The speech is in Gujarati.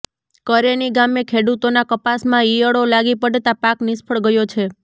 કરેની ગામે ખેડૂતોના કપાસમાં ઈયળો લાગી પડતા પાક નિષ્ફળ ગયો છે